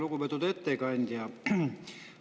Lugupeetud ettekandja!